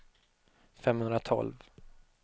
femhundratolv